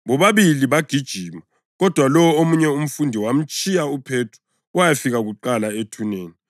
Bobabili babegijima, kodwa lowo omunye umfundi wamtshiya uPhethro wayafika kuqala ethuneni.